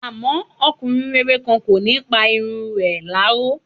Àmọ́, ọmọkùnrin rere kan, kò ní pa irun ẹ̀ láró.